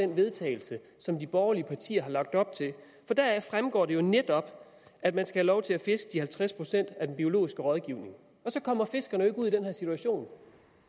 vedtagelse som de borgerlige partier har lagt op til for deraf fremgår det jo netop at man skal have lov til at fiske de halvtreds procent af den biologiske rådgivning og så kommer fiskerne jo ikke ud i den her situation